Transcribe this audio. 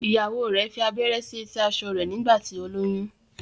ìyàwó rẹ fí abẹrẹ sí eti aṣọ rẹ nígbà tí o lóyún.